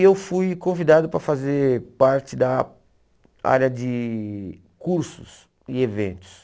E eu fui convidado para fazer parte da área de cursos e eventos.